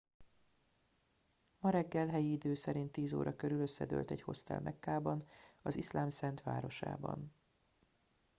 ma reggel helyi idő szerint 10 óra körül összedőlt egy hostel mekkában az iszlám szent városában